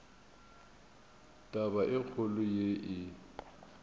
taba e kgolo ye e